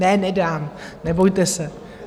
Ne, nedám, nebojte se.